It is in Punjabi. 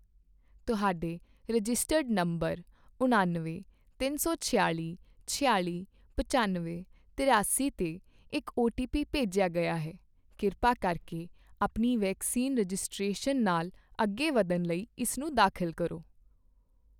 ਤੁਹਾਡੇ ਰਜਿਸਟਰਡ ਨੰਬਰ ਉਣਾਨਵੇਂ, ਤਿੰਨ ਸੌ ਛਿਆਲ਼ੀ, ਛਿਆਲ਼ੀ, ਪਚਾਨਵੇਂ, ਤਰਿਆਸੀ 'ਤੇ ਇੱਕ ਓਟੀਪੀ ਭੇਜਿਆ ਗਿਆ ਹੈ, ਕਿਰਪਾ ਕਰਕੇ ਆਪਣੀ ਵੈਕਸੀਨ ਰਜਿਸਟ੍ਰੇਸ਼ਨ ਨਾਲ ਅੱਗੇ ਵੱਧਣ ਲਈ ਇਸਨੂੰ ਦਾਖਲ ਕਰੋ